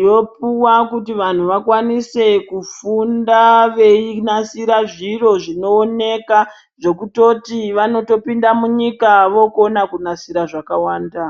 yopuwa kuti vanhu vakwanise kufunda veyinasira zviro zvinowoneka, zvokutoti vanotopinda munyika vokona kunasira zvakawanda.